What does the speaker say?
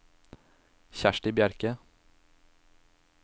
Kjersti Bjerke